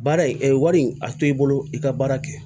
Baara in wari a to i bolo i ka baara kɛ